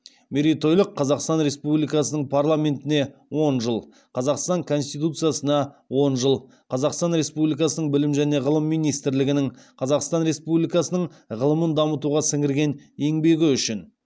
мерейтойлық қазақстан республикасының парламентіне он жыл қазақстан конституциясына он жыл қазақстан республикасының білім және ғылым министрлігінің қазақстан республикасының ғылымын дамытуға сіңірген еңбегі үшін